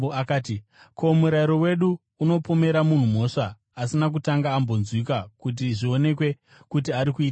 “Ko, murayiro wedu unopomera munhu mhosva asina kutanga ambonzwikwa kuti zvionekwe kuti ari kuitei here?”